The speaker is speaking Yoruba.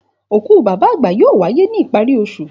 Òkú bàbá àgbà yóò wáyé ní ìparí osù